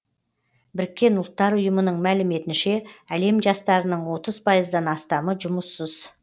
біріккен ұлттар ұйымының мәліметінше әлем жастарының отыз пайыздан астамы жұмыссыз